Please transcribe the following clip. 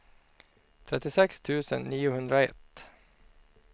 trettiosex tusen niohundraett